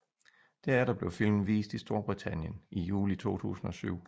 Derefter blev filmen vist i Storbritannien i juli 2007